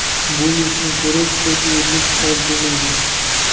Bu yurtni ko‘rish ko‘p yillik orzum edi.